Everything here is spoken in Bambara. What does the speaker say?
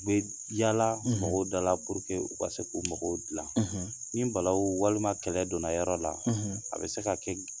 U bɛ yaala mɔgɔw dala u ka se k'u mɔgɔw dilan, ni balawu walima ni kɛlɛ donna yɔrɔ la, a bɛ se ka kɛ